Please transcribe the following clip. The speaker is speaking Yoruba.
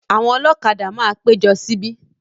Àwọn ọlọ́kadà máa péjọ síbi.